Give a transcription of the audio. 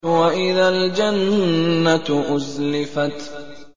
وَإِذَا الْجَنَّةُ أُزْلِفَتْ